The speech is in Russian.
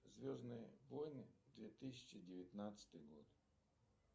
звездные войны две тысячи девятнадцатый год